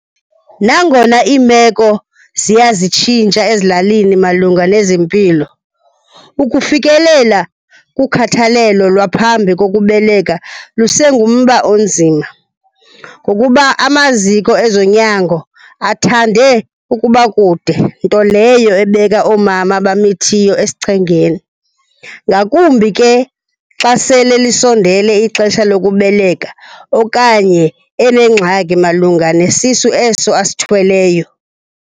Nangona iimeko ziya zitshintsha ezilalini malunga nezempilo, ukufikelela kukhathalelo lwaphambe kokubeleka lusengumba onzima ngokuba amaziko ezonyango athande ukuba kude, nto leyo ebeka oomama abamithiyo esichengeni. Ngakumbi ke xa sele lisondele ixesha lokubeleka okanye enengxaki malunga nesisu eso asithweleyo.